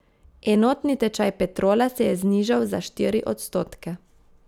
Enotni tečaj Petrola se je znižal za štiri odstotke.